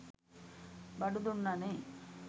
බඩු දුන්නනේ.